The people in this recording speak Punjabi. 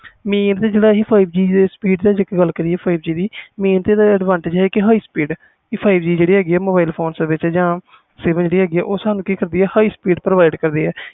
ਜੇ ਅਸੀਂ five G ਦੀ ਗੱਲ ਕਰੀਏ ਇਹਦੇ ਨੇ ਇਹ advantages high speed five G ਜਿਹੜੀ ਹੈ ਗੀ mobile phone ਸੇਵਾ ਜਿਹੜੀ ਹੈ ਸਾਨੂੰ ਕਿ ਕਰਦੀ ਆ highr speed provide ਕਰਦੀ ਆ